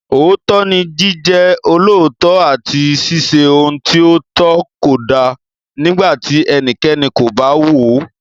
Òótọ́ ni Jíjẹ́ olóòótọ́ àti ṣíṣe ohun tí ó tọ́ kódà nígbà tí ẹnikẹ́ni kò bá wò ó.